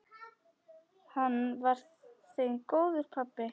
Hann var þeim góður pabbi.